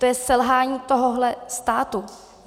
To je selhání tohohle státu.